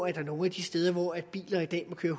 er nogle af de steder hvor biler i dag må køre